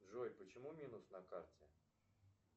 джой почему минус на карте